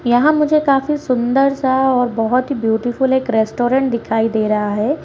यहाँ पर मुझे काफी सुंदर सा और बहुत ही ब्यूटीफुल एक रेस्टोरेंट दिखाई दे रहा है।